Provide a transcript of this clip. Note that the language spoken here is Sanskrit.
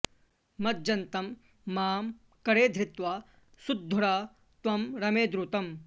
मज्जन्तं मां करे धृत्वा सूद्धर त्वं रमे द्रुतं